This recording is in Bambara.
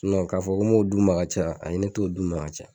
Nɔn k'a fɔ n m'o d'u ma ka caya ayi ne t'o d'u ma ka caya